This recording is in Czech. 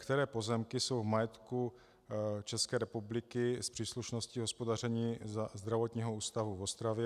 Které pozemky jsou v majetku České republiky s příslušností hospodaření Zdravotního ústavu v Ostravě?